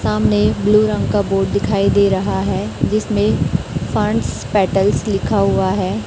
सामने ब्लू रंग का बोर्ड दिखाई दे रहा है जिसमें फंड्स पैटल्स लिखा हुआ है।